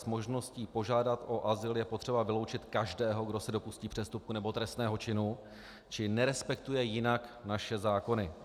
Z možnosti požádat o azyl je potřeba vyloučit každého, kdo se dopustí přestupku nebo trestného činu či nerespektuje jinak naše zákony.